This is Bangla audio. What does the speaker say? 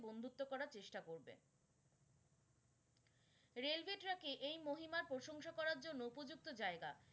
Raiway track ই এই মহিমা প্রশংসা করার জন্য উপযুক্ত জায়গা।